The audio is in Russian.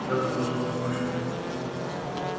тогда ты должен помочь мне